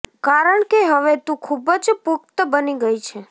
કારણ કે હવે તું ખૂબ જ પુખ્ત બની ગઈ છે